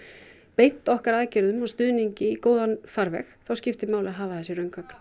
beint okkar aðgerðum og stuðningi í góðan farveg þá skiptir máli að hafa þessi